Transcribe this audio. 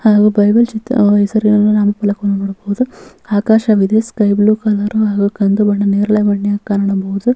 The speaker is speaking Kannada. ಹಾಗು ಬೈಬಲ್ ಜಿತ್ ಹೆಸರಿನ ನಾಮ ಫಲಕವನ್ನು ನೋಡಬಹುದು ಆಕಾಶವಿದೆ ಸ್ಕೈ ಬ್ಲೂ ಕಲರ್ ಹಾಗು ಕಂದು ಬಣ್ಣ ನೇರಳೆ ಬಣ್ಣ ಕಾಣಬಹುದು .